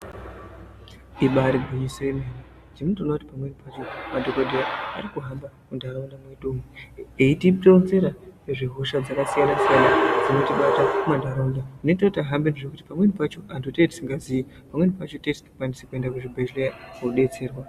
Ibari gwinyiso yememe ini ndinoona kuti pamweni pacho madhokodheya ari kuhamba muntaraunda mwedu eyitironzera ngezve hosha dzakasiyana siyana dzinotibata mumantaraunda zvinoita kuti ahambezve. Pamweni pacho antu tinenge tisingaziyi pamweni pacho tinenge tisingakwanisi kuende kuzvibhedhleya kodetserwa.